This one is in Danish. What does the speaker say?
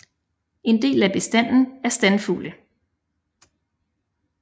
En del af bestanden er standfugle